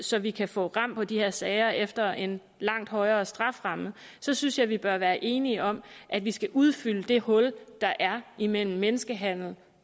så vi kan få ram på de her sager efter en langt højere strafferamme så synes jeg vi bør være enige om at vi skal udfylde det hul der er imellem menneskehandel